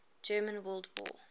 german world war